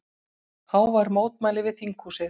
Hávær mótmæli við þinghúsið